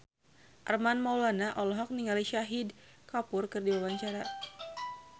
Armand Maulana olohok ningali Shahid Kapoor keur diwawancara